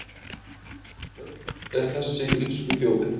Öll er þessi illskuþjóðin